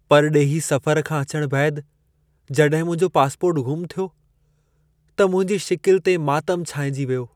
परडे॒ही सफ़रु खां अचण बैदि जड॒हिं मुंहिंजो पासपोर्टु ग़ुम थियो, त मुंहिंजी शिकिल ते मातम छाइंजी वियो।